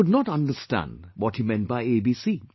I could not understand what he meant by ABC